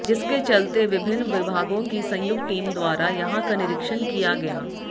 जिसके चलते विभिन्न विभागों की संयुक्त टीम द्वारा यहां का निरीक्षण किया गया